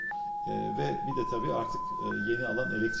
Eee və bir də təbii ki, artıq eee yeni sahə elektrik sahəsidir.